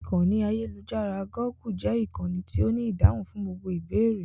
Ìkànnì ayélujára "Gúgù" jẹ́ ìkànnì tí ó ní ìdáhùn fún gbogbo ìbéèrè.